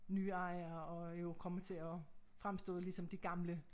Nye ejere og jo kommer til at fremstå ligesom det gamle